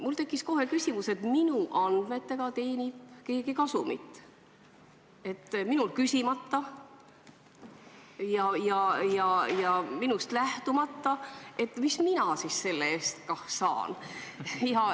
Mul tekkis kohe küsimus, et minu andmetega teenib keegi minult küsimata kasumit, aga mis mina siis selle eest saan.